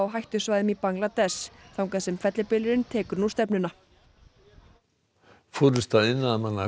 hættusvæðum í Bangladess þangað sem fellibylurinn tekur nú stefnuna forysta iðnaðarmanna